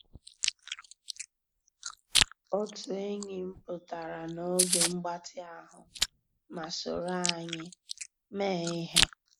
Ótú ényí m pụ́tárá n'ògé mgbàtị́ ahụ́ má sòró ànyị́ meé íhé.